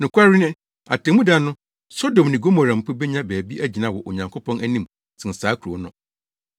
Nokware ni, atemmuda no, Sodom ne Gomora mpo benya baabi agyina wɔ Onyankopɔn anim sen saa kurow no.